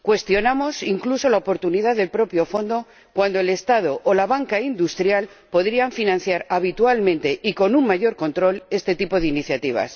cuestionamos, incluso, la oportunidad del propio fondo cuando el Estado o la banca industrial podrían financiar habitualmente y con un mayor control este tipo de iniciativas.